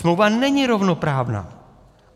Smlouva není rovnoprávná.